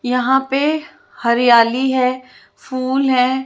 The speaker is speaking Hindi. यहाँ पे हरयाली है फूल हैं।